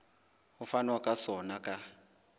ho fanwa ka sona ka